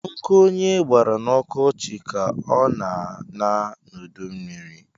Nkụ onye gbara na ọkọchi ka ọ na-aṅa n’udummiri